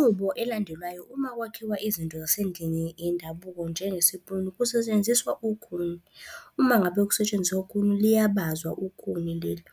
Inqubo elandelwayo uma kwakhiwa izinto zasendlini yendabuko njengesipuni kusetshenziswa ukhuni. Uma ngabe kusetshenziswa ukhuni liyabazwa ukhuni leli.